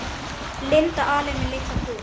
Linda alein með litla kút.